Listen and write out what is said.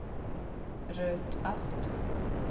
Ruth Asp